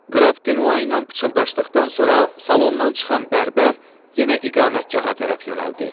Qraf De Noa ilə pıçıldaşdıqdan sonra salondan çıxan bərbər yenə iqamətgaha tərəf yönəldi.